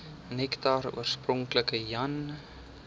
nektar oorspronklik jan